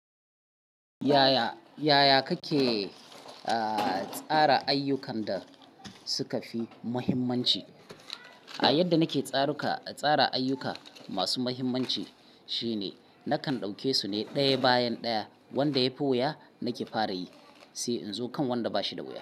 Yaya, yaya kake tsara ayyukan da suka fi muhimmanci? A yadda nake tsaruka, tsara ayyuka masu muhimmanci shine nakan ɗauke su ne ɗaya bayan ɗaya, wanda ya fi wuya nake fara yi sai in zo kan wanda ba shi da wuya.